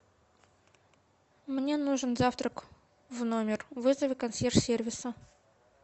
мне нужен завтрак в номер вызови консьерж сервиса